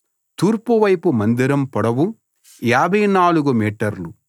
తూర్పు వైపు మందిరం పొడవు 54 మీటర్లు